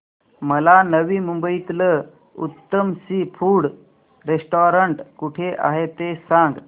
मला नवी मुंबईतलं उत्तम सी फूड रेस्टोरंट कुठे आहे ते सांग